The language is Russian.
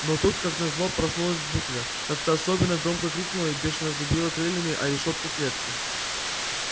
но тут как назло проснулась букля как-то особенно громко крикнула и бешено забила крыльями о решётку клетки